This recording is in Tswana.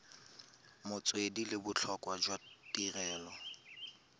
metswedi le botlhokwa jwa tirelo